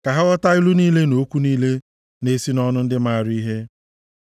Ka ha ghọta ilu niile na okwu niile na-esi nʼọnụ ndị maara ihe.